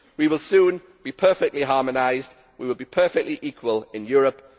We will soon be perfectly harmonised, we will be perfectly equal in Europe.